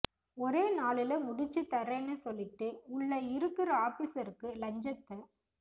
ஒரே நாளுள முடிச்சி தரேன்னு சொல்லிட்டு உள்ள இருக்கிற ஆபிஸருக்கு லஞ்சத்த